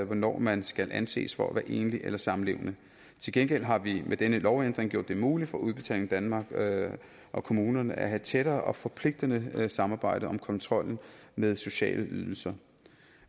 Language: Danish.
hvornår man skal anses for at være enlig eller samlevende til gengæld har vi med denne lovændring gjort det muligt for udbetaling danmark og kommunerne at have tættere og forpligtende samarbejde om kontrollen med sociale ydelser